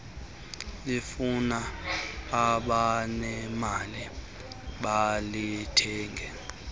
lifuna abanemali balithenge